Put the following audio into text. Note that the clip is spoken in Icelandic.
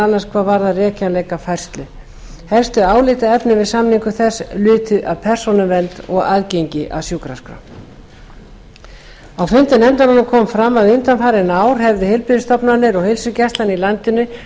annars hvað varðar rekjanleika færslu helstu álitaefni við samningu þess lutu að persónuvernd og aðgengi að sjúkraskrá á fundum nefndarinnar kom fram að undanfarin ár hefðu heilbrigðisstofnanir og heilsugæslan í landinu